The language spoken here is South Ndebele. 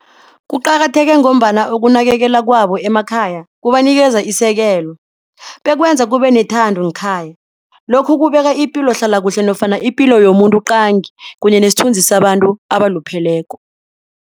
Kuqakatheke ngombana ukunakekela kwabo emakhaya kubanikeza isekelo bekwenza kubenethando ngekhaya. Lokhu kubeka ipilo ihlalakuhle nofana ipilo yomuntu qangi kunye nesithunzi abantu abalupheleko.